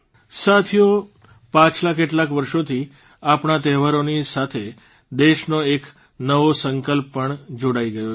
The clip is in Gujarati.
સાથીઓ પાછલા કેટલાક વર્ષોથી આપણા તહેવારોની સાથે દેશનો એક નવો સંકલ્પ પણ જોડાઇ ગયો છે